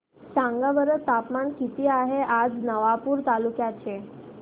सांगा बरं तापमान किता आहे आज नवापूर तालुक्याचे